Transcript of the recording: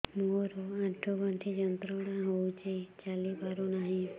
ମୋରୋ ଆଣ୍ଠୁଗଣ୍ଠି ଯନ୍ତ୍ରଣା ହଉଚି ଚାଲିପାରୁନାହିଁ